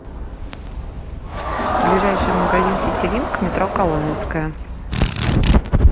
ближайший магазин ситилинк метро коломенское